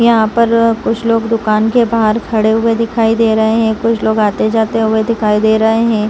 यहां पर कुछ लोग दुकान के बाहर खड़े हुए दिखाई दे रहे हैं कुछ लोग आते जाते हुए दिखाई दे रहे हैं।